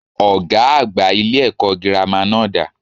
Ògá àgbà ilé èkó girama náà dà?